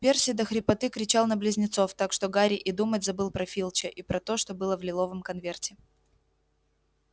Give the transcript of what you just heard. перси до хрипоты кричал на близнецов так что гарри и думать забыл про филча и про то что было в лиловом конверте